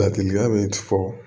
Ladilikan bɛ fɔ